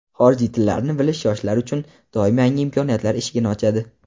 Xorijiy tillarni bilish yoshlar uchun doim yangi imkoniyatlar eshigini ochadi.